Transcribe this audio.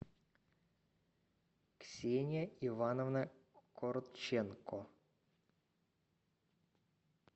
ксения ивановна корченко